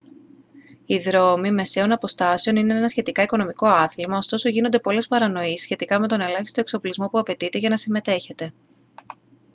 οι δρόμοι μεσαίων αποστάσεων είναι ένα σχετικά οικονομικό άθλημα ωστόσο γίνονται πολλές παρανοήσεις σχετικά με τον ελάχιστο εξοπλισμό που απαιτείται για να συμμετέχετε